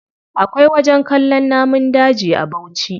Akwai wajen kallon namun daji a bauchi.